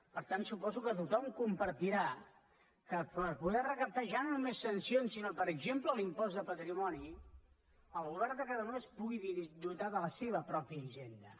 per tant suposo que tothom compartirà que per poder recaptar ja no només sancions sinó per exemple l’impost de patrimoni el govern de catalunya es pugui dotar de la seva pròpia hisenda